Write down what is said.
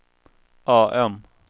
AM